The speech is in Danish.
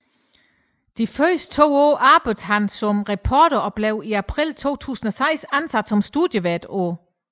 De første to år arbejdede han som reporter og blev i april 2006 ansat som studievært på